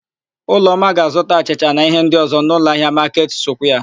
Ụlọma ga-azụta achịcha na íhé ndị ọ̀zọ́ n'ụlọahịa Maketị Sukwia.